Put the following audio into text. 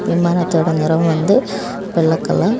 விமானத்தோட நிறம் வந்து வெள்ள கலர் .